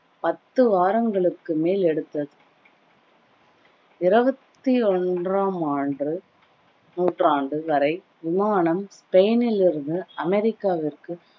பத்து வாரங்களுக்கு மேல் எடுத்தது இருவத்தி ஒன்றாம் ஆண்டு நூற்றாண்டு வரை விமானம் ஸ்பெய்னில் இருந்து அமெரிக்காவிற்கு